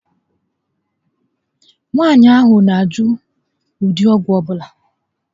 Nwaànyị ahụ na -ajụ ụdị ọgwụ ọbula